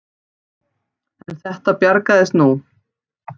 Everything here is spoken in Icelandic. En þetta bjargaðist nú.